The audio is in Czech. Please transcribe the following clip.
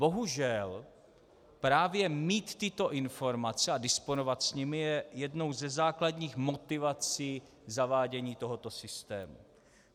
Bohužel právě mít tyto informace a disponovat s nimi je jednou ze základních motivací zavádění tohoto systému.